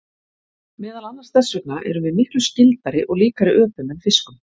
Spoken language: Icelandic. meðal annars þess vegna erum við miklu „skyldari“ og líkari öpum en fiskum